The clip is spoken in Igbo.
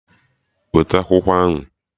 Weta akwụkwọ ahụ!